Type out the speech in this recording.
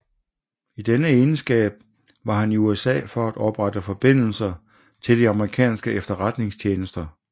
I denne egenskab var han i USA for at oprette forbindelse til de amerikanske efterretningstjenester